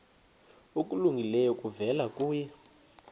okulungileyo kuvela kuye